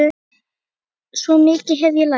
Svo mikið hef ég lært.